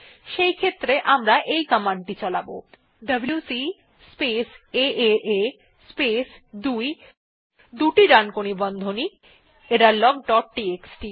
সেক্ষেত্রে আমরা এই কমান্ড টি চালাব ডব্লিউসি স্পেস এএ স্পেস 2 দুটি ডানকোণী বন্ধনী এররলগ ডট টিএক্সটি